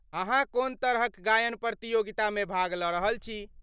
अहाँ कोन तरहक गायन प्रतियोगितामे भाग लऽ रहल छी?